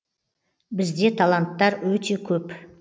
бізде таланттар өте көп